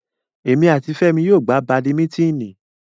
Emi ati Femi yóò gba Badimitini